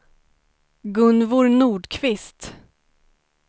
Gunvor Nordqvist